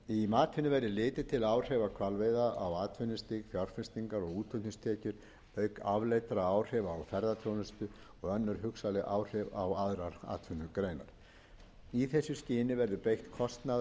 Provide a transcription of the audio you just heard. matinu verður litið til áhrifa hvalveiða á atvinnustig fjárfestingar og útflutningstekjur auk afleiddra áhrifa á ferðaþjónustu og önnur hugsanleg áhrif á aðrar atvinnugreinar í þessu skyni verður beitt